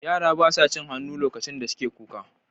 Yara ba sa cin hannu lokacin da suke kuka.